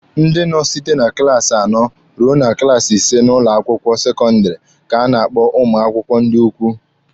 Ndị nọ site na klaasi anọ rue na klaasi ise n'ụlọ akwụkwọ sekọndịrị ka na-akpọ ụmụ akwụkwọ ndị ukwu.